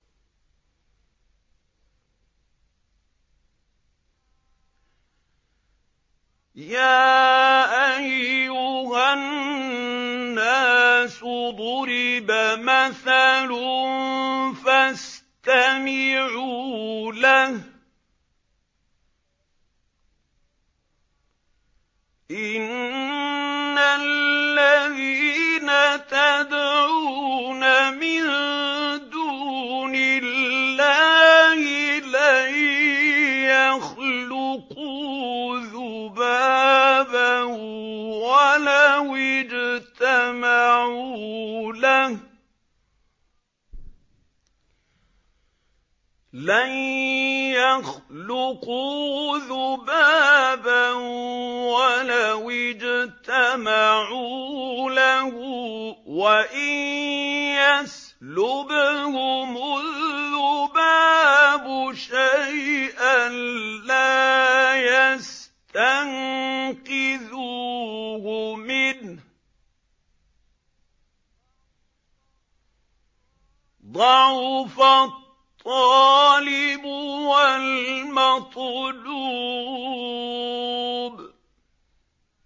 يَا أَيُّهَا النَّاسُ ضُرِبَ مَثَلٌ فَاسْتَمِعُوا لَهُ ۚ إِنَّ الَّذِينَ تَدْعُونَ مِن دُونِ اللَّهِ لَن يَخْلُقُوا ذُبَابًا وَلَوِ اجْتَمَعُوا لَهُ ۖ وَإِن يَسْلُبْهُمُ الذُّبَابُ شَيْئًا لَّا يَسْتَنقِذُوهُ مِنْهُ ۚ ضَعُفَ الطَّالِبُ وَالْمَطْلُوبُ